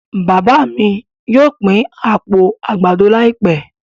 Bàbà mí yóò pin apó àgbàdo laipẹ